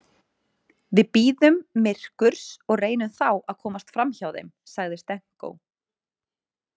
Við bíðum myrkurs og reynum þá að komast framhjá þeim, sagði Stenko.